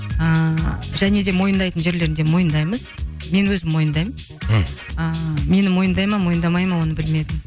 ыыы және де мойындайтын жерлерінде мойындаймыз мен өзім мойындаймын мхм ыыы мені мойындай ма мойындамай ма оны білмедім